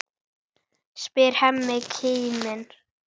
spyr Hemmi kíminn.